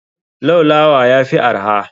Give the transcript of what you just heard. Laulawa yafi arha.